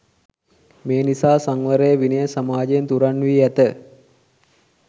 මේ නිසා සංවරය, විනය සමාජයෙන් තුරන් වී ඇත.